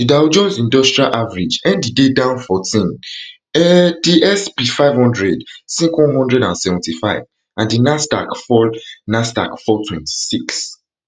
the dow jones industrial average end di day down fourteen um di sp five hundred sink one hundred and seventy-five and di nasdaq fall nasdaq fall twenty-six